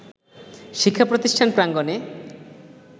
শিক্ষাপ্রতিষ্ঠান প্রাঙ্গণে